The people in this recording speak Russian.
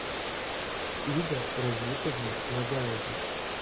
ида разитовна нагаева